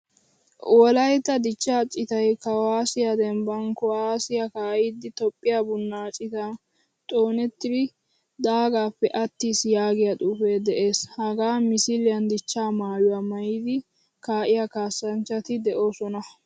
Wolaytta dichchaa citay kuwasiya dembban kuwasiyaa kaidi toophphiyaa buna citan xoonetridi daagappe attiis yaagiyaa xuufee de'ees. Hagaa misiliyan dichcha maayuwaa maayidi kaiya kaasanchchati deosona.